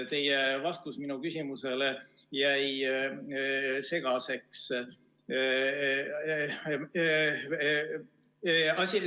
Teie vastus minu küsimusele jäi segaseks.